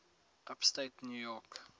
upstate new york